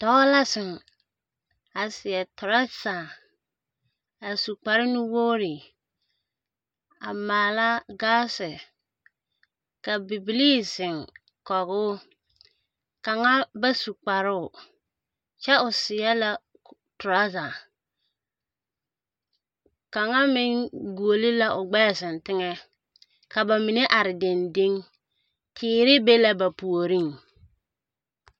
Dɔɔ la zeŋ a seɛ toraza a yɛe kpare nuwogiri a maala gaase. Ka bibilii zeŋ kɔge o kaŋa ba su kparoo kyɛ o seɛ la toraza. Kaŋmeŋ guoli la o gbɛɛ zeŋ teŋɛ. Kaz ba mine are dendeŋ. Teere be la ba puoriŋ.